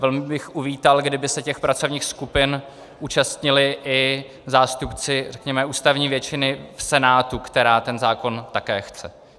Velmi bych uvítal, kdyby se těch pracovních skupin účastnili i zástupci, řekněme, ústavní většiny v Senátu, která ten zákon také chce.